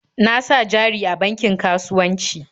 Na sa jari a bankin kasuwanci.